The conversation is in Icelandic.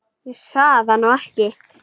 Ég sagði það nú ekki.